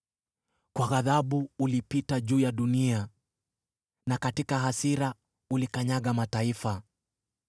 Kwa ghadhabu ulipita juu ya dunia, na katika hasira ulikanyaga mataifa.